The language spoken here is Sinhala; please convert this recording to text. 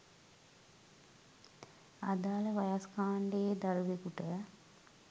අදාළ වයස්‌ කාණ්‌ඩයේ දරුවෙකුට